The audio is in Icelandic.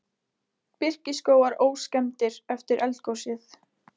Birkiskógar óskemmdir eftir eldgosið